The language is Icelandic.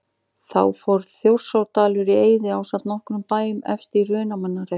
Þá fór Þjórsárdalur í eyði ásamt nokkrum bæjum efst í Hrunamannahreppi.